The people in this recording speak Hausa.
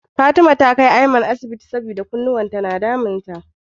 Fatima ta kai Aiman asibiti saboda kunnuwan sa na damun sa.